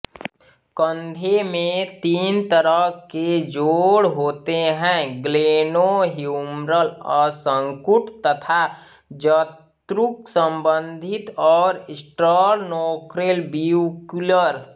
कंधे में तीन तरह के जोड़ होते है ग्लेनोह्युमरल असंकुट तथा जत्रुक संबंधी और स्टरनोक्लेविक्युलर